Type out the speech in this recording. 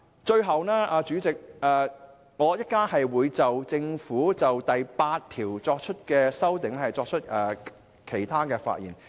主席，我稍後還會就政府當局有關第8條的修正案發言。